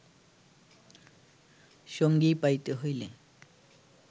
সঙ্গী পাইতে হইলে